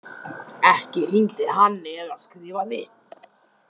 Ekki hringdi hann eða skrifaði.